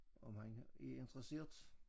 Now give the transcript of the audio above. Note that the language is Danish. Om han er interesseret